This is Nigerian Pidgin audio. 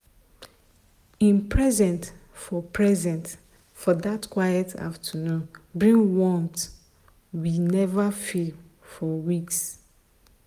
him presence for presence for that quiet afternoon bring warmth we never feel for weeks.